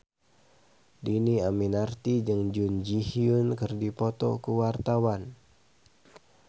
Dhini Aminarti jeung Jun Ji Hyun keur dipoto ku wartawan